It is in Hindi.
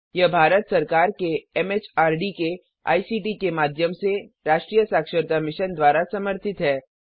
यह भारत सरकार के एमएचआरडी के आईसीटी के माध्यम से राष्ट्रीय साक्षरता मिशन द्वारा समर्थित है